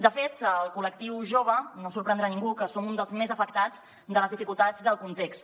de fet el col·lectiu jove no sorprendrà ningú que som un dels més afectats de les dificultats del context